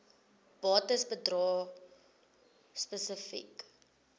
bates bedrae spesifiek